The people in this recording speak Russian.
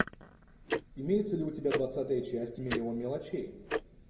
имеется ли у тебя двадцатая часть миллион мелочей